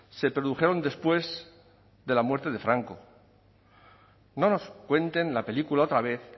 se produjeron después de la muerte de franco no nos cuenten la película otra vez